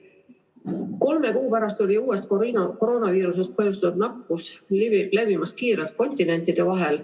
Kolme kuu pärast levis uuest koroonaviirusest põhjustatud nakkus kiirelt kontinentide vahel.